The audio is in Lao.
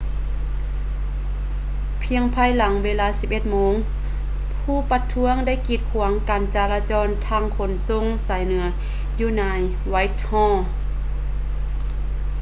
ພຽງພາຍຫຼັງເວລາ 11:00 ໂມງ ຜູ້ປະທ້ວງໄດ້ກີດຂວາງການຈາລະຈອນທາງຂົນສົ່ງສາຍເໜືອຢູ່ໃນ whitehall